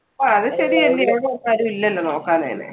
അത് ശെരിയല്ലേ ആരും ഇല്ലാലോ നോക്കാനും അങ്ങനെ